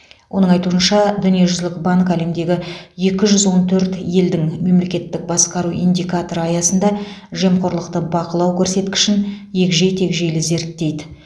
оның айтуынша дүниежүзілік банк әлемдегі екі жүз он төрт елдің мемлекеттік басқару индикаторы аясында жемқорлықты бақылау көрсеткішін егжей тегжейлі зерттейді